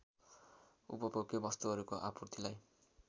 उपभोग्य वस्तुहरूको आपूर्तिलाई